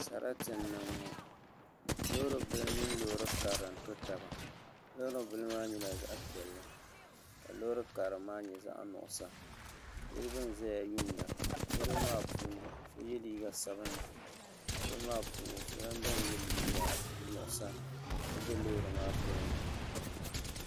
Sarati n niŋ ŋɔ loori bili mini loori karili n to taba loori bili maa nyɛla zaɣ piɛlli ka loori karili maa nyɛ zaɣ nuɣso niraba n ʒɛya yuunda niraba maa puuni so yɛ liiga sabinli niraba maa puuni so lahi biɛni yɛ liiga nuɣsa ka bɛ loori maa tooni